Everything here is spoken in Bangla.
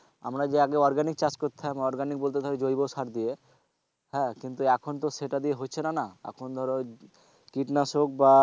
আমরা যে আগে organic চাষ করতাম organic বলতে ধর জৈবসার দিয়ে কিন্তু এখন তো সেটা দিয়ে হচ্ছে না না এখন ধরো কীটনাশক বা,